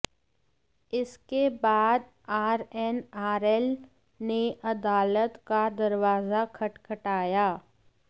इसके बाद आरएनआरएल ने अदालत का दरवाजा खटखटाया